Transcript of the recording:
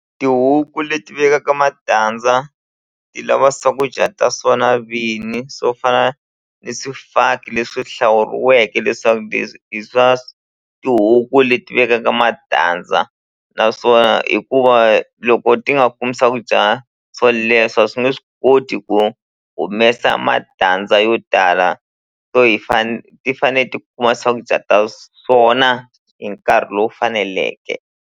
Tihuku leti vekaka matandza ti lava swakudya ta swona vini swo fana ni swifaki leswi hlawuriweke leswaku leswi i swa tihuku leti vekaka matandza naswona hikuva loko ti nga kumi swakudya swo leswo a swi nge swi koti ku humesa matandza yo tala so hi ti fane ti kuma swakudya ta swona hi nkarhi lowu faneleke.